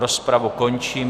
Rozpravu končím.